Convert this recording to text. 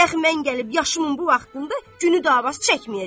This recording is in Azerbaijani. Dəxi mən gəlib yaşımın bu vaxtında günü dava çəkməyəcəm.